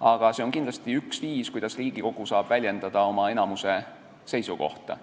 aga see on kindlasti üks viise, kuidas Riigikogu saab väljendada oma enamuse seisukohta.